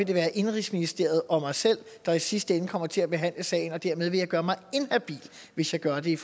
det være indenrigsministeriet og mig selv der i sidste ende kommer til at behandle sagen og dermed ville jeg gøre mig inhabil hvis jeg gjorde det